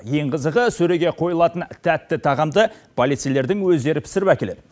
ең қызығы сөреге қойылатын тәтті тағамды полицейлердің өздері пісіріп әкеледі